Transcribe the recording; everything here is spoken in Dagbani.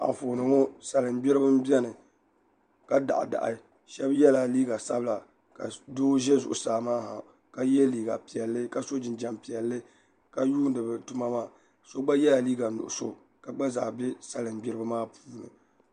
Anfooni ŋo salin gbiribi n biɛni ka daɣa daɣi shab yɛla liiga sabila ka doo ʒɛ zuɣusaa maa ha ka yɛ liiga piɛlli ka so jinjɛm piɛlli ka yuundi bi tuma maa so gba yɛla liiga nuɣso ka gba zaa bɛ salin gbiribi maa puuni